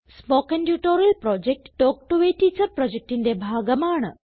spoken tutorial project talk to a teacher പ്രൊജക്റ്റിന്റെ ഭാഗമാണ്